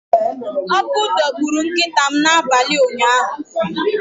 Ọkụ dọgburu nkịta m n’abalị ụnyaahụ.